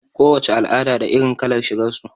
Ko wace al'ada da irin kalar shigar su.